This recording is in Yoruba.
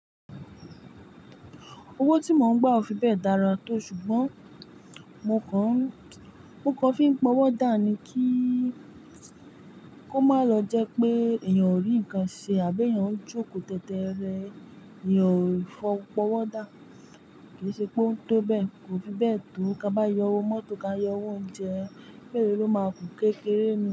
Owó tí mò ń gbà ò fi bẹ́ẹ̀ dára tó, ṣùgbọ́n mo kọ́ fi ń pọwọ́ dáa ni kí ó má lọ jẹ́ pé èèyàn ò rí nǹkan ṣe àbí èèyàn ń jókòó tẹ́tẹ́ rẹ èèyàn ò fi fọ̀ pọwọ́ dáa. Kì í ṣe pé ó ń tó bẹ́ẹ̀, kò fi bẹ́ẹ̀ tó, ká bá yọ owó mọ́tò ká yọ owó oúnjẹ, èyí ló máa ku kékeré ni.